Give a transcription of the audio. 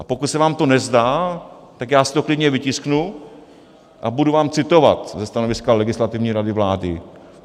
A pokud se vám to nezdá, tak já si to klidně vytisknu a budu vám citovat ze stanoviska Legislativní rady vlády.